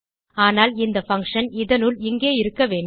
ஆனால் இந்த பங்ஷன் இதனுள் இங்கே இருக்க வேண்டும்